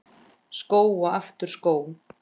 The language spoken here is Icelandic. Skó og aftur skó.